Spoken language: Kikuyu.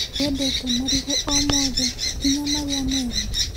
Ndwendete marigũ o mothe nginya marĩa meru?